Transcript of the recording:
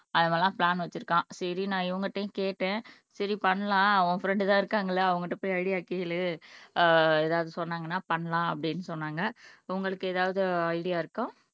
அவன் எல்லாம் பிளான் வச்சிருக்கான் சரி நான் இவங்ககிட்டயும் கேட்டேன் சரி பண்ணலாம் உன் பிரென்ட் தான் இருக்காங்கள்ல அவங்கிட்ட போய் ஐடியா கேளு அஹ் ஏதாவது சொன்னாங்கன்னா பண்ணலாம் அப்படின்னு சொன்னாங்க உங்களுக்கு ஏதாவது ஐடியா இருக்கா